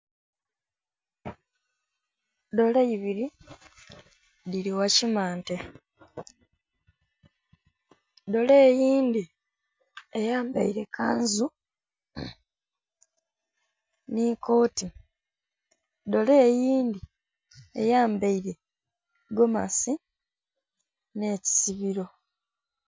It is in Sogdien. Dooli ibiri dhili gha kimante dooli eyindhi eyambaire kanzu nhi koti, dooli eyindhi eyambaire gomasi nhe kisibiro.